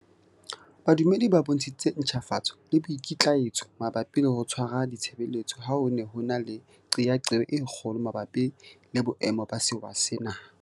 Badumedi ba bontshitse ntjhafatso le boikitlaetso mabapi le ho tshwara ditshebeletso ha ho ne ho na le qeaqeo e kgolo mabapi le boemo ba sewa sena.